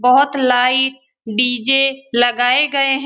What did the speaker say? बहुत light DJ. लगाए गये हैं।